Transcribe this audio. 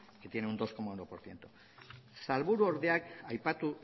que tiene un dos coma uno por ciento sailburuordeak aipatu